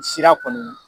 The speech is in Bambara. Sira kɔni